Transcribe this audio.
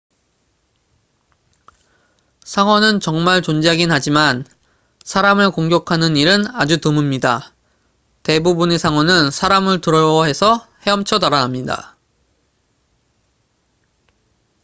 상어는 정말 존재하긴 하지만 사람을 공격하는 일은 아주 드뭅니다 대부분의 상어는 사람을 두려워해서 헤엄쳐 달아납니다